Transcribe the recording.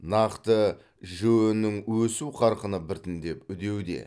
нақты жіө нің өсу қарқыны біртіндеп үдеуде